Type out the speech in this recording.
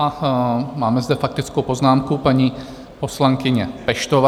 A máme zde faktickou poznámku, paní poslankyně Peštová.